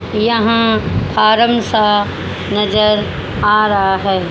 यहां फॉर्म सा नजर आ रहा है।